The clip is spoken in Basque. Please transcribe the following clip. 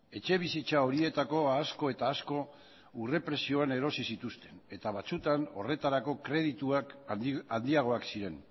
etxebizitza horietako asko eta asko urre prezioan erosi zituzten eta batzutan horretarako kredituak handiagoak ziren